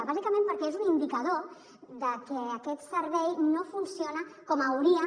bàsicament perquè és un indicador de que aquest servei no funciona com hauria de